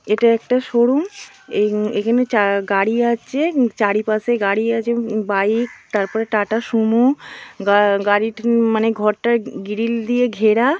এটা একটা শোরুম | এখানে গাড়ি আছে চারিপাশে গাড়ি আছে বাইক তারপরে টাটাসুমো গাড়ি | মানে ঘরটা গিলির দিয়ে ঘেরা |